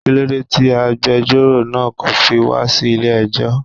Kílódé ti agbẹjọ́rò náa kò fi wá sí ilé ẹjọ́